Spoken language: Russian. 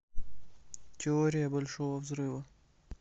теория большого взрыва